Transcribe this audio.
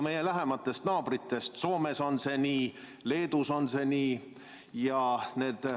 Meie lähimatest naabritest on see nii Soomes ja Leedus.